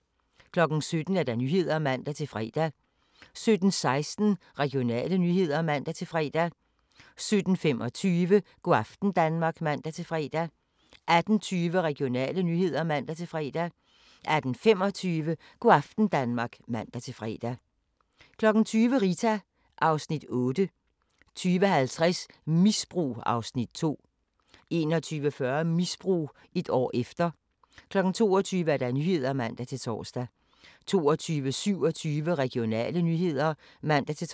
17:00: Nyhederne (man-fre) 17:16: Regionale nyheder (man-fre) 17:25: Go' aften Danmark (man-fre) 18:20: Regionale nyheder (man-fre) 18:25: Go' aften Danmark (man-fre) 20:00: Rita (Afs. 8) 20:50: Misbrug (Afs. 2) 21:40: Misbrug – et år efter 22:00: Nyhederne (man-tor) 22:27: Regionale nyheder (man-tor)